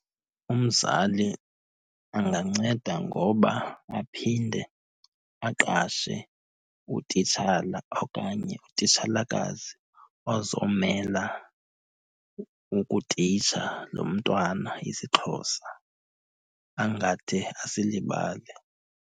Umzali anganceda ngoba aphinde aqashe utitshala okanye utitshalakazi ozomela ukutitsha lo mntwana isiXhosa angade asilibale.